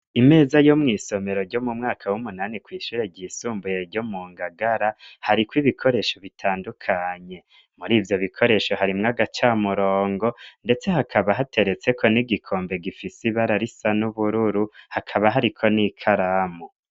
Imeza yo mw'isomero ryo mu mwaka w'umunani kwishure ryisumbuye ryo mu ngagara hariko ibikoresho bitandukanye muri ivyo bikoresho harimwo agaca murongo, ndetse hakaba hateretseko n'igikombe gifise ibara risa n'ubururu hakaba hariko n'i karamu.